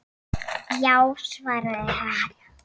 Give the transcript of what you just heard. Já, svaraði hann.